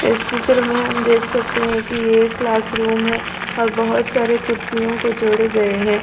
इस चित्र में हम देख सकते हैं कि यह एक क्लास रूम है और बहुत सारे कुर्सियों को जोड़े गए हैं।